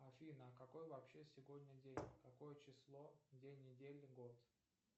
афина какой вообще сегодня день какое число день недели год